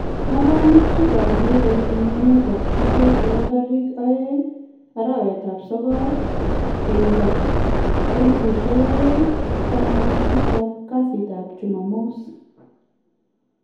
Ngalalutik ab mpiret en emet ab chumbek chebo tarikit 02-09-2017 kasitap chumamos